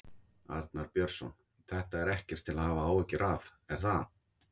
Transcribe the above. Arnar Björnsson: Þetta er ekkert til að hafa áhyggjur af, er það?